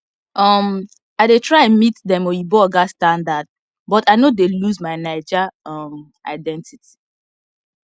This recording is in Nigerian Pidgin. um i dey try meet dem oyinbo oga standard but i no dey lose my naija um identity